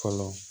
Fɔlɔ